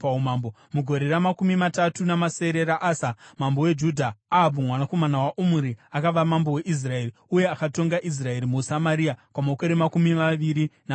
Mugore ramakumi matatu namasere raAsa, mambo weJudha, Ahabhu, mwanakomana waOmuri, akava mambo weIsraeri, uye akatonga Israeri muSamaria kwamakore makumi maviri namaviri.